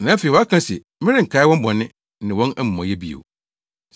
Na afei waka se, “Merenkae wɔn bɔne ne wɔn amumɔyɛ bio.”